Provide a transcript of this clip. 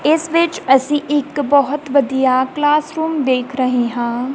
ਇਸ ਵਿੱਚ ਅਸੀਂ ਇੱਕ ਬਹੁਤ ਵਧੀਆ ਕਲਾਸ ਰੂਮ ਦੇਖ ਰਹੇ ਹਾਂ।